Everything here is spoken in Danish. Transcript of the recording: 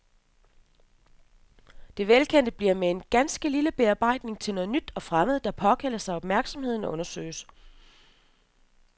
Det velkendte bliver med en ganske lille bearbejdning til noget nyt og fremmed, der påkalder sig opmærksomhed og undersøgelse.